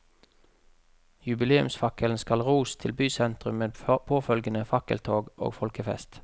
Jubileumsfakkelen skal ros til bysentrum med påfølgende fakkeltog og folkefest.